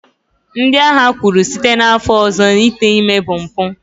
ndị agha kwuru, site n'afọ ọzọ ite ime bụ mpụ